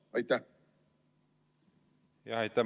Aitäh!